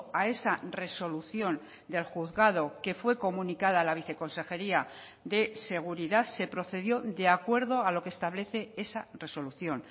a esa resolución del juzgado que fue comunicada a la viceconsejería de seguridad se procedió de acuerdo a lo que establece esa resolución